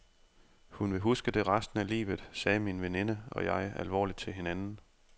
Hun vil huske det resten af livet, sagde min veninde og jeg alvorligt til hinanden.